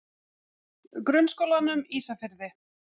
Grunnskólanum Ísafirði